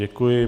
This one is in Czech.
Děkuji.